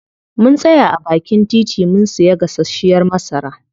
Mun tsaya a baakin titi mun siya gasashiyar masara.